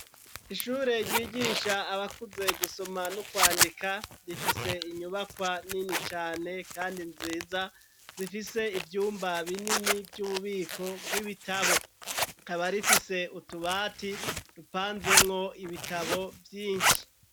Ishure ryigisha abakuze gusoma no kwandika gifise inyubakwa nini cane kandi nziza zifise ibyumba binini vy'ububiko bw'ibitabo aba rifise utubati rupanzemwo ibitabo vyinshi.